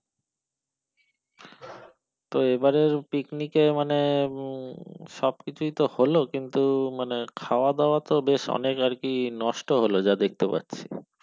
তো এবারের পিকনিকে মানে সবকিছুই তো হলো কিন্তু মানে খাওয়া দাওয়া তো বেশ অনেক আর কি নষ্ট হলো যা দেখতে পাচ্ছি।